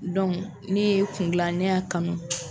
ne ye kungilan ne y'a kanu.